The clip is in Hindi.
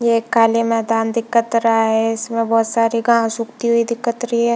ये एक खाली मैदान दिखत रहा है इसमें बहोत सारी घास उगती हुई दिखत रही है।